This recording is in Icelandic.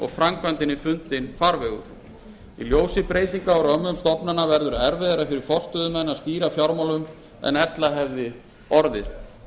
framkvæmdinni fundinn farvegur í ljósi breytinga á römmum stofnanna verður erfiðara fyrir forstöðumenn að stýra fjármálunum en ella hefði orðið